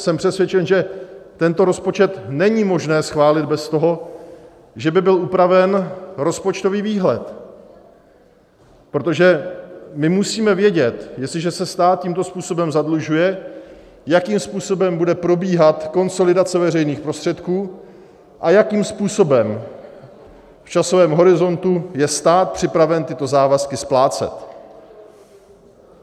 Jsem přesvědčen, že tento rozpočet není možné schválit bez toho, že by byl upraven rozpočtový výhled, protože my musíme vědět, jestliže se stát tímto způsobem zadlužuje, jakým způsobem bude probíhat konsolidace veřejných prostředků a jakým způsobem v časovém horizontu je stát připraven tyto závazky splácet.